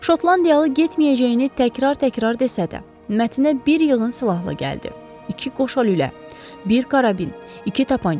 Şotlandiyalı getməyəcəyini təkrar-təkrar desə də, Mətnə bir yığın silahla gəldi: İki qoşalülə, bir karabin, iki tapança.